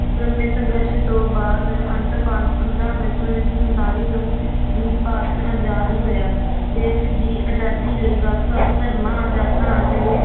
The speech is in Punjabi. ਲੰਮੇ ਸੰਘਰਸ਼ ਤੋਂ ਬਾਅਦ ਅੰਤ ਪੰ~ ਪੰਦਰਾਂ ਅਗਸਤ ਉੱਨੀ ਸੌ ਸੰਤਾਲੀ ਨੂੰ ਵੀ ਭਾਰਤ ਆਜ਼ਾਦ ਹੋਇਆ ਦੇਸ ਦੀ ਆਜ਼ਾਦੀ ਲਈ ਵੱਖ ਵੱਖ ਧਰਮਾਂ ਜਾਤਾਂ ਤੇ